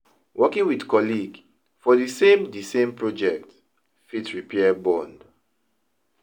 Working with colleague for di same di same project fit repair bond